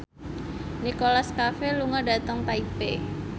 Nicholas Cafe lunga dhateng Taipei